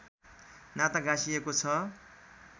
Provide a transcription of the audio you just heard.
नाता गाँसिएको छ